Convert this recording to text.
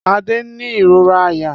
Ade n ni irora àyà.